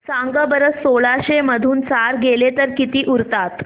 सांगा बरं सोळाशे मधून चार गेले तर किती उरतात